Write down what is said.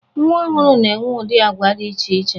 Nwa ọhụrụ na-enwe ụdị agwa dị iche iche.